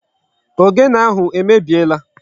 Ogene ahụ emebiela.